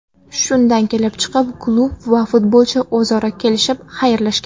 Shundan kelib chiqib, klub va futbolchi o‘zaro kelishib, xayrlashishgan.